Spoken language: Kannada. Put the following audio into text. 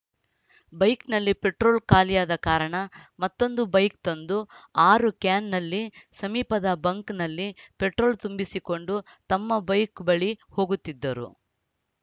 ಬೈಕ್‌ನಲ್ಲಿ ಪೆಟ್ರೋಲ್‌ ಖಾಲಿಯಾದ ಕಾರಣ ಮತ್ತೊಂದು ಬೈಕ್‌ ತಂದು ಆರು ಕ್ಯಾನ್‌ನಲ್ಲಿ ಸಮೀಪದ ಬಂಕ್‌ನಲ್ಲಿ ಪೆಟ್ರೋಲ್‌ ತುಂಬಿಸಿಕೊಂಡು ತಮ್ಮ ಬೈಕ್‌ ಬಳಿ ಹೋಗುತ್ತಿದ್ದರು